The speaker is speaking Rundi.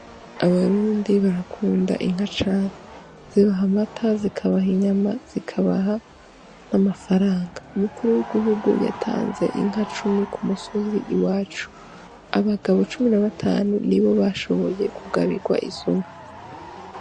Abarundi barakunda inka cane zibaha amata zikabaha inyama zikabaha amafaranga, umukuru w' gihugu yatanze inka cumi kumusozi iwacu abagabo cumi n'a batanu nibo bashoboye kugabigwa izo nka.